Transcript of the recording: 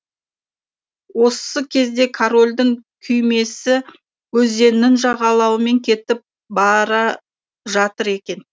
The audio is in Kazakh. осы кезде корольдің күймесі өзеннің жағалауымен кетіп бара жатыр екен